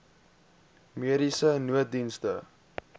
mediese nooddienste